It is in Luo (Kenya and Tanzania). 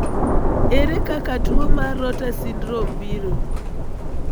Ere kaka tuo mar rotor syndrome biro.